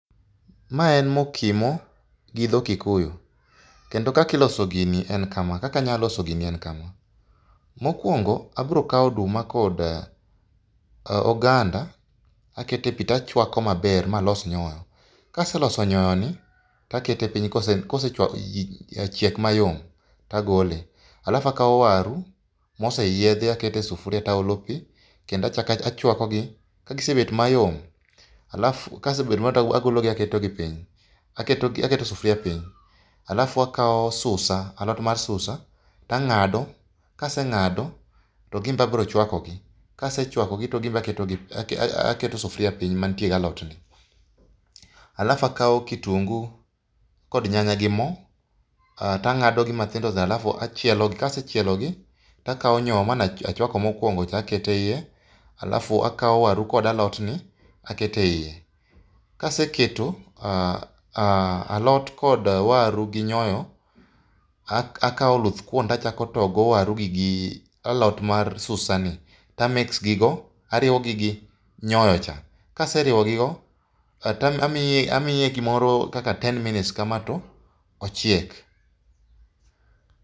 Mae en mokimo, gi dho Kikuyu. Kendo kakiloso gini en kama. Mokuongo abiro kawo oduma kod oganda aketo epi to achuako maber, ma alos nyoyo. Ka aseloso nyoyoni to akete piny kosechiek mayom to agole. Alafu akao waru moseyiedhi aketo e sufuria to aolo pi, kendo achako achuakogi. Ka gisebet mayom alafu to agologo aketogi piny. Aketo sufuria piny alafu akao susa, alot mar susa, ang'ado kaseng'ado to gin be abiro chuakogi. Kase chuakogi to gin be aketo gi piny aketo sufuria piny mantie gi alotni. Alafu akao kitungu kod nyanya gi mo to ang'ado gi matindo lafu achielo gi kasechielogi to akawo nyoyo mane achuako mokuongo cha aketo eiye. Alafu akawo waru kod alotni, aketo eiye. Ka aseketo alot kod waru gi nyoyo, akawo oluthkuon to achako toyogo waru gi alot mar susani to a mix gigo ariwo gi nyoyocha. Ka aseriwo gigo, to amiye gimoro kaka ten minutes kama to ochiek.